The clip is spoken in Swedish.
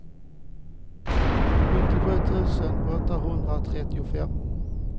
sjuttiosju tusen åttahundratrettiofem